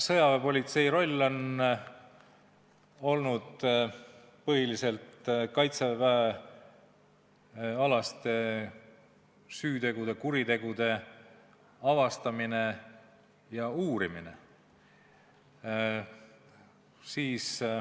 Sõjaväepolitsei roll on olnud põhiliselt kaitseväeteenistusalaste süütegude, kuritegude avastamine ja uurimine.